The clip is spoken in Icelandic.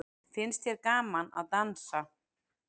Finnst þér gaman að dansa?